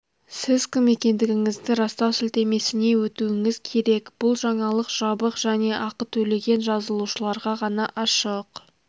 сіз кім екендігіңізді растау сілтемесіне өтуіңіз керек бұл жаңалық жабық және ақы төлеген жазылушыларға ғана ашық